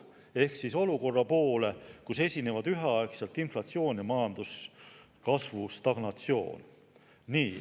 See on olukord, kus esinevad üheaegselt inflatsioon ja majanduskasvu stagnatsioon.